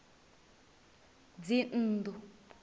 dzinnḓu